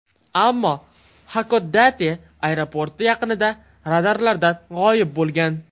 Ammo Xakodate aeroporti yaqinida radarlardan g‘oyib bo‘lgan.